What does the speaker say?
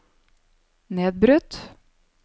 nedbrutt